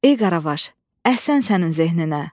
Ey Qaravaş, əhsən sənin zehninə!